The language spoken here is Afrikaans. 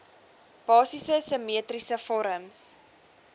basiese simmetriese vorms